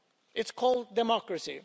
It's called democracy.